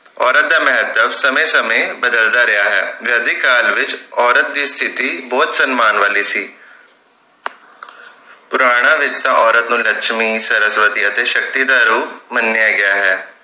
ਔਰਤ ਦਾ ਮਹੱਤਵ ਸਮੇਂ ਸਮੇਂ ਬਦਲਦਾ ਰਿਹਾ ਹੈ ਵੈਦਿਕ ਕਾਲ ਵਿਚ ਔਰਤ ਦੀ ਸਤਿਥੀ ਬਹੁਤ ਸੰਮਾਨ ਵਾਲੀ ਸੀ ਪੁਰਾਣਾ ਵਿਰਸਾ ਔਰਤ ਨੂੰ ਲਕਸ਼ਮੀ ਸਰਸਵਤੀ ਅਤੇ ਸ਼ਕਤੀ ਦਾ ਰੂਪ ਮੰਨਿਆ ਗਿਆ ਹੈ